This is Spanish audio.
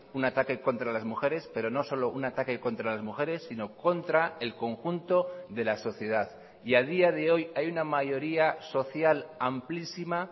un ataque contra las mujeres pero no solo un ataque contra las mujeres sino contra el conjunto de la sociedad y a día de hoy hay una mayoría social amplísima